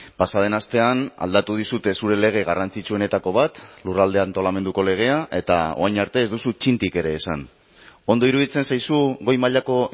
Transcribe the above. pasa den astean aldatu dizute zure lege garrantzitsuenetako bat lurralde antolamenduko legea eta orain arte ez duzu txintik ere esan ondo iruditzen zaizu goi mailako